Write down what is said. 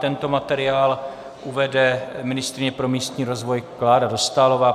Tento materiál uvede ministryně pro místní rozvoj Klára Dostálová.